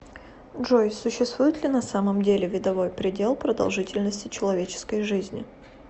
джой существует ли на самом деле видовой предел продолжительности человеческой жизни